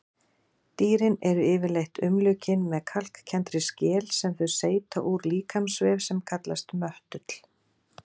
Dýrin eru yfirleitt umlukin með kalkkenndri skel sem þau seyta úr líkamsvef sem kallast möttull.